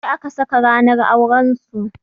Jiya aka saka ranar auran su.